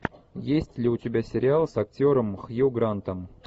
есть ли у тебя сериал с актером хью грантом